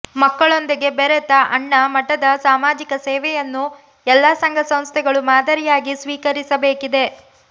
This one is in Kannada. ಮಕ್ಕಳೊಂದಿಗೆ ಬೆರೆತ ಅಣ್ಣಾ ಮಠದ ಸಾಮಾಜಿಕ ಸೇವೆಯನ್ನು ಎಲ್ಲ ಸಂಘ ಸಂಸ್ಥೆಗಳು ಮಾದರಿಯಾಗಿ ಸ್ವೀಕರಿಸಬೇಕಿದೆ